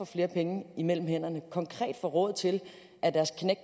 flere penge mellem hænderne konkret får råd til